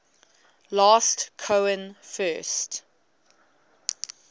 last cohen first